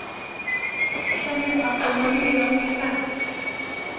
Achame asomani ye ami kaa